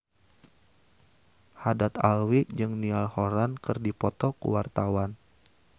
Haddad Alwi jeung Niall Horran keur dipoto ku wartawan